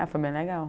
Ah, foi bem legal.